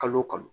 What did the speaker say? Kalo o kalo